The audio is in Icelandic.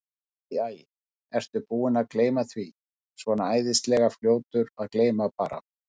Æ, æ, ertu búinn að gleyma því. svona æðislega fljótur að gleyma bara.